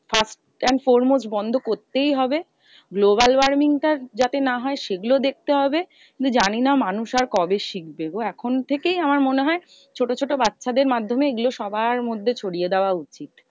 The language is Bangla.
First and foremost বন্ধ করতেই হবে। global warming টা যাতে না হয় সে গুলো দেখতে হবে। কিন্তু জানি না মানুষ আর কবে শিখবে গো? এখন থেকেই আমার মনে হয়, ছোটো ছোটো বাচ্চাদের মাধ্যমে এগুলো সবার মধ্যে ছড়িয়ে দেওয়া উচিত।